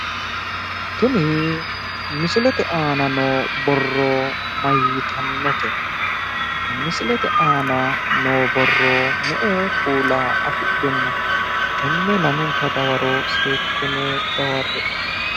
Tini misilete aana noo borro mayyiitannote? Misilete aana noo borro me"e kuula afidhino? Tenne lamenta dawaro seekkitine dawarre"e.